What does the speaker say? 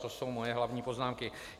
To jsou moje hlavní poznámky.